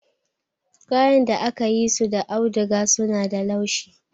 Kayan da aka yi su da auduga suna da laushi.